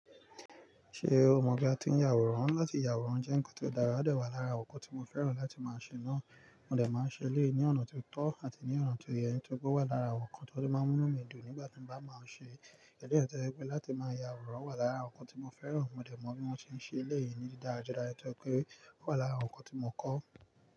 Ṣé o mọ̀ pé a ti ń yàwòrán láti yàwòrán jẹ́ nǹkan tó dára, ó dà wà lára nǹkan tí mo fẹ́ràn láti máa ṣe náà. Mo dè máa ṣe léè ní ọ̀nà tó tọ́ àti ní ọ̀nà tó yẹ tó kò wà lára nǹkan tó máa ń mú mí dùn nígbà tí mo bá máa ṣe é. Kẹ̀dẹ́ àti ẹyan to je pe láti máa yàwòrán wà lára nǹkan tí mo fẹ́ràn. Mo dẹ̀ mọ bí mo ṣe ń ṣe léè yìí ní dídára jọdà yẹn tó pé ó wà lára nǹkan tí mo kọ́.